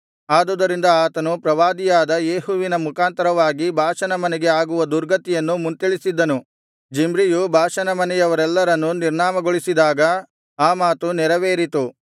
ಆದುದರಿಂದ ಆತನು ಪ್ರವಾದಿಯಾದ ಯೇಹುವಿನ ಮುಖಾಂತರವಾಗಿ ಬಾಷನ ಮನೆಗೆ ಆಗುವ ದುರ್ಗತಿಯನ್ನು ಮುಂತಿಳಿಸಿದ್ದನು ಜಿಮ್ರಿಯು ಬಾಷನ ಮನೆಯವರೆಲ್ಲರನ್ನೂ ನಿರ್ನಾಮಗೊಳಿಸಿದಾಗ ಆ ಮಾತು ನೆರವೇರಿತು